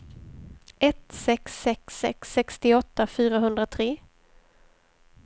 ett sex sex sex sextioåtta fyrahundratre